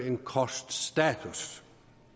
en kort status